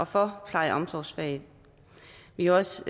for pleje og omsorgsfaget vi har også